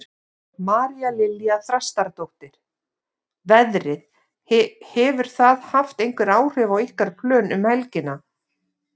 María Lilja Þrastardóttir: Veðrið, hefur það haft einhver áhrif á ykkar plön um helgina?